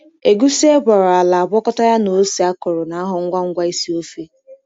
Egusi e gwara ala, agwakọta ya na ose akọrọ, na-aghọ ngwa ngwa isi ofe.